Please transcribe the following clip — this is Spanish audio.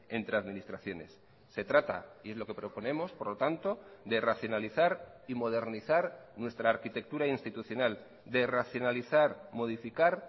entre administraciones se trata y es lo que proponemos por lo tanto de racionalizar y modernizar nuestra arquitectura institucional de racionalizar modificar